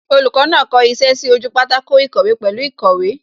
Olùkọ́ náà kọ iṣẹ́ sí ojú pátákó ìkọ̀wé pẹ̀lú īkòwé